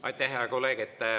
Aitäh, hea kolleeg!